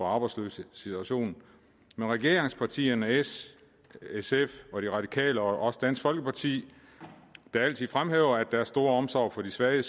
arbejdsløses situation men regeringspartierne s sf og de radikale og også dansk folkeparti der altid fremhæver deres store omsorg for de svage